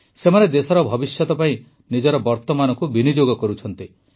ସେମାନେ ଦେଶର ଭବିଷ୍ୟତ ପାଇଁ ନିଜର ବର୍ତ୍ତମାନକୁ ବିନିଯୋଗ କରୁଛନ୍ତି